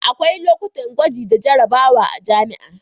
akwai lokutan gwaji da jarrabawa a jami'a